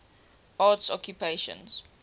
arts occupations